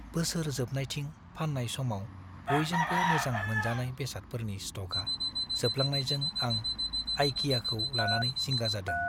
बोसोर जोबनायथिं फान्नाय समाव बयजोंबो मोजां मोनजानाय बेसादफोरनि स्ट'कआ जोबलांनायजों आं आइकियाखौ लानानै जिंगा जादों।